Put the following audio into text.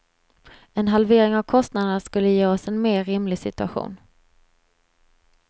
En halvering av kostnaderna skulle ge oss en mer rimlig situation.